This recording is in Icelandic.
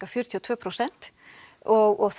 fjörutíu og tvö prósent og